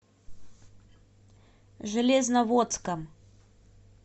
железноводском